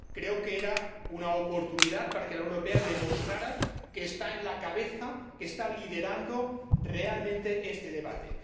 Creo que era una oportunidad para que la Unión Europea demostrara que está a la cabeza, que está liderando realmente este debate.